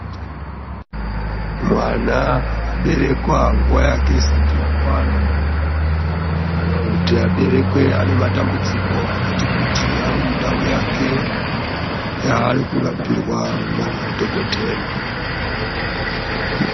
Mwana aberekwa nguwa yake isati yakwana, kana kuti aberekwe ane matambudziko akati kuti ari mundau yake yaari kurapirwa ndaDhokoteya.